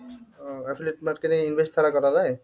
ও affiliate market এ invest ছাড়া করা যায়?